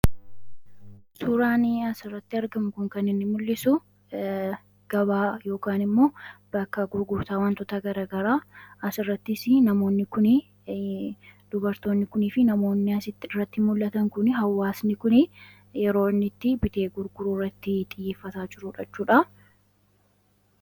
tuuraanii asirratti argamku kan inni mul'isu gabaay immoo bakka gurgurtaa wantoota gara garaa as irrattis namoondubartoonni kunii fi namoonnias irratti mul'atan kun hawaasni kun yeroonitti bitee gurguruu irratti xiyyeeffasaa jiruudhachuudha